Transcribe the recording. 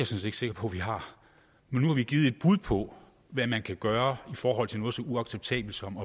set ikke sikker på vi har men nu har vi givet et bud på hvad man kan gøre i forhold til noget så uacceptabelt som